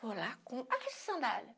Vou lá compro aqui sua sandália.